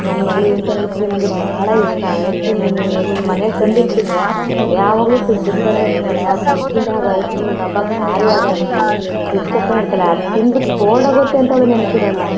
ನನ್ನ ಮಗಳಿಗೆ ಇಂತಾ ಐಸ್ ಕ್ರೀಮ್ ಬಹಳ ಇಷ್ಟ ಐಸ್ ಕ್ರೀಮ್ ಮನೆಗೆ ತಂದಿ ಇಟ್ಟಬಿಟ್ಟರೆ ಯಾವಗಲ್ಲು ಫ್ರಿಡ್ಜ್ ಹತ್ರನೇ ಇರತ್ತಾಳೆ ಆ ಫ್ರಿಡ್ಜ್ ಆ ಐಸ್ ಕ್ರೀಮ್ ಡಬ್ಬಾ ಖಾಲಿ ಆಗೋ ತನಕ ಫ್ರಿಡ್ಜ್ ಹತ್ರನೇ ಇರತ್ತಾಳೆ. ಅದನ್ನ ತಿಂದ ಬಿಟ್ಟುಕೋಲ್ಡ್ ಆಗುತ್ತೆ ಅಂತ ಅವಳಿಗೆ ನೆನಪ ಇರಲ್ಲಾ.